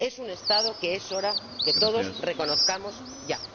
Es un Estado que es hora de que todos reconozcamos ya.